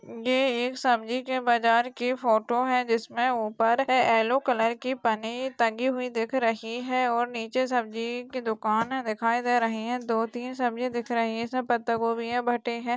ये एक सब्जी के बाज़ार की फोटो है जिसमे उपर है येल्लो कलर की फनी टंगी हुई दिख रही है और नीचे सब्जी की दुकान दिखाई दे रही है दो तीन सब्जी दिख रही है जिसमे पत्ता गोबी है भट्टे है।